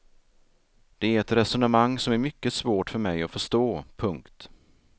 Det är ett resonemang som är mycket svårt för mig att förstå. punkt